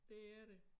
Det er det